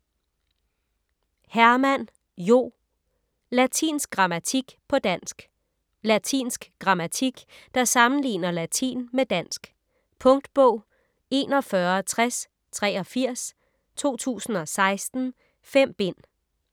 Hermann, Jo: Latinsk grammatik på dansk Latinsk grammatik der sammenligner latin med dansk. Punktbog 416083 2016. 5 bind.